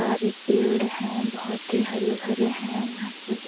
सारे पेड़ हैं बहुत ही हरे-भरे हैं यहाँ से ब --